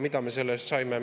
Mida me selle eest saime?